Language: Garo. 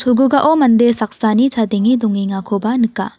mande saksani chadenge dongengakoba nika.